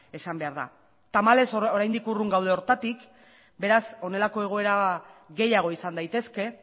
esan behar da tamalez oraindik urrun gaude horretatik beraz honelako egoera gehiago izan daitezke